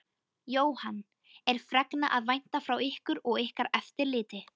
Jóhann: Er fregna að vænta frá ykkur og ykkar eftirliti?